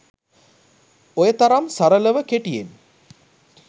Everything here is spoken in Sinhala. ඔය තරම් සරලව කෙටියෙන්